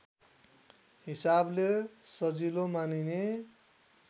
हिसाबले सजिलो मानिने